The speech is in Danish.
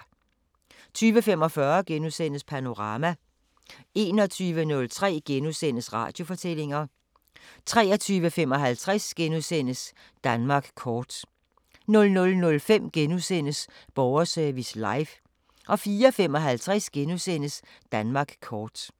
20:45: Panorama * 21:03: Radiofortællinger * 23:55: Danmark kort * 00:05: Borgerservice Live * 04:55: Danmark kort *